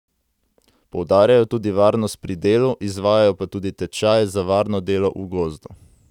Poudarjajo tudi varnost pri delu, izvajajo pa tudi tečaje za varno delo v gozdu.